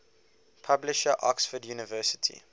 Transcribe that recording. publisher oxford university